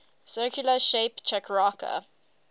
circular shape chakrakar